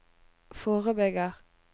forebygger